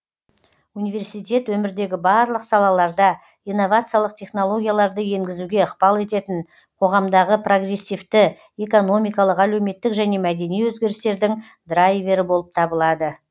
университет өмірдегі барлық салаларда инновациялық технологияларды енгізуге ықпал ететін қоғамдағы прогрессивті экономикалық әлеуметтік және мәдени өзгерістердің драйвері болып табылады